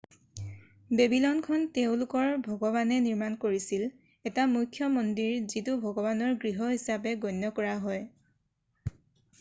বেবিলনখন তেওঁলোকৰ ভগৱানে নিৰ্মাণ কৰিছিল এটা মুখ্য মন্দিৰ যিটো ভগৱানৰ গৃহ হিচাপে গণ্য কৰা হয়